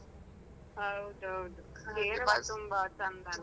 ಹೌದೌದು area ನೆ ತುಂಬಾ ಚಂದ ಅಲ್ಲ.